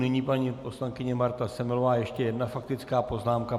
Nyní paní poslankyně Marta Semelová, ještě jedna faktická poznámka.